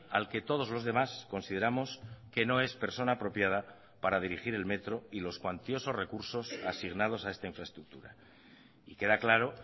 al que todos los demás consideramos que no es persona apropiada para dirigir el metro y los cuantiosos recursos asignados a esta infraestructura y queda claro